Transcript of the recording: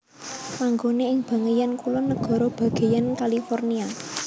Manggone ing bageyan kulon nagara bageyan California